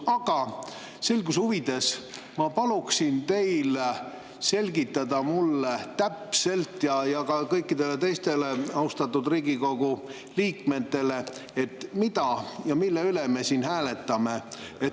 Aga selguse huvides ma palun teil täpselt selgitada mulle ja ka kõikidele teistele austatud Riigikogu liikmetele, mida ja mille üle me siin hääletame.